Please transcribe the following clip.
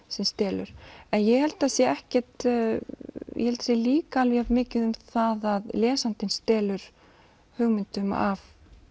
sem stelur ég held að það sé ekkert ég held sé líka jafnmikið um það að lesandinn stelur hugmyndum af